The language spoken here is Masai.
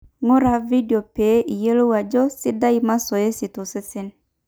ng'ura vedio pee iyiolou ajo sidai masoesi tosesen